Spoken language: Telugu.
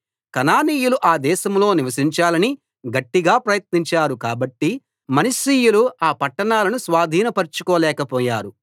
కనానీయులు ఆ దేశంలో నివసించాలని గట్టిగా ప్రయత్నించారు కాబట్టి మనష్షీయులు ఆ పట్టణాలను స్వాధీనపరచుకోలేక పోయారు